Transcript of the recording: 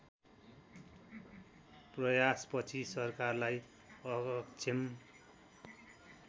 प्रयासपछि सरकारलाई अक्षम